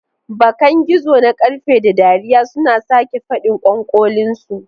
Bakan gizo na ƙarfe, da dariya suna sake faɗin ƙwanƙolinsu.